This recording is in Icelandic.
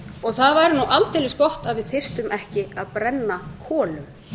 og það væri nú aldeilis gott að við þyrftum ekki að brenna kolum